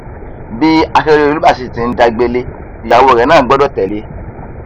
bí akérèdọlù bá sì ti ń dá gbélé ìyàwó rẹ náà gbọdọ tẹlé e